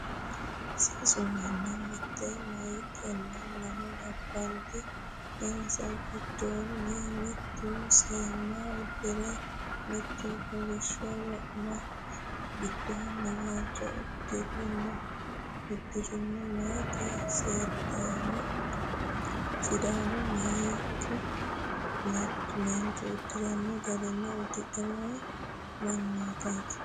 Sasu manni: mitte meeyatinna lamu labballi, insa giddonni mittu seemma uddire, mittu kolishsho wo'manna giddoonni waajjo uddano uddirenna maayiti sidaamu meentu uddira garinni uddidhe noo mannootaati.